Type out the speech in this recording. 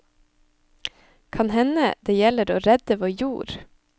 Kan hende det gjelder å redde vår jord.